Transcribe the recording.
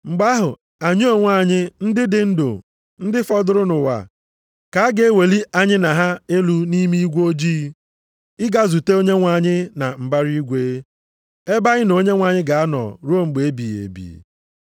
Mgbe ahụ, anyị onwe anyị, ndị dị ndụ, ndị fọdụrụ nʼụwa, ka a ga-eweli anyị na ha elu nʼime igwe ojii, ịga izute Onyenwe anyị na mbara eluigwe, ebe anyị na Onyenwe anyị ga-anọ ruo mgbe ebighị ebi.